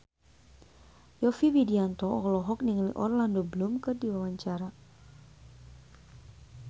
Yovie Widianto olohok ningali Orlando Bloom keur diwawancara